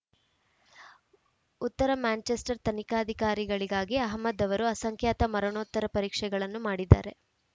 ಉತ್ತರ ಮ್ಯಾಂಚೆಸ್ಟರ್‌ ತನಿಖಾಧಿಕಾರಿಗಳಿಗಾಗಿ ಅಹಮದ್‌ ಅವರು ಅಸಂಖ್ಯಾತ ಮರಣೋತ್ತರ ಪರೀಕ್ಷೆಗಳನ್ನು ಮಾಡಿದ್ದಾರೆ